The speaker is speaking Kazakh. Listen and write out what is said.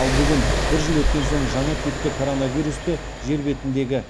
ал бүгін бір жыл өткен соң жаңа типті коронавирусты жер бетіндегі